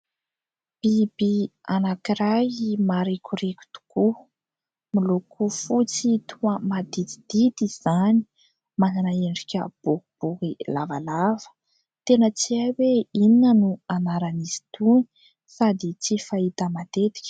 Biby anankiray marikoriko tokoa, miloko fotsy, toa maditidity izany ; manana endrika boribory lavalava. Tena tsy hay hoe inona no anaran'izy itony sady tsy fahita matetika.